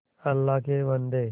अल्लाह के बन्दे